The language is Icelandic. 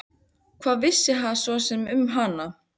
Hvað vissi hann svo sem um hana?